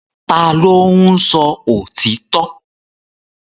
Ta ló ń sọ òtítọ́?